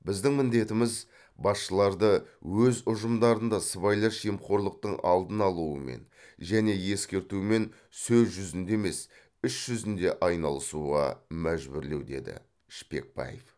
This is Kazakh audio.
біздің міндетіміз басшыларды өз ұжымдарында сыбайлас жемқорлықтың алдын алумен және ескертумен сөз жүзінде емес іс жүзінде айналысуға мәжбүрлеу деді шпекбаев